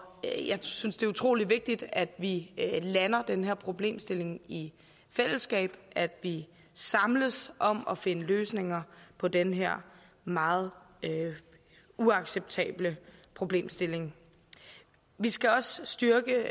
jeg synes det er utrolig vigtigt at vi lander den her problemstilling i fællesskab at vi samles om at finde løsninger på den her meget uacceptable problemstilling vi skal også styrke